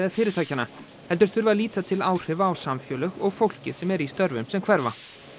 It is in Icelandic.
fyrirtækjanna heldur þurfi að líta til áhrifa á samfélög og fólkið sem er í störfum sem hverfa